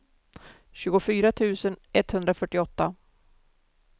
tjugofyra tusen etthundrafyrtioåtta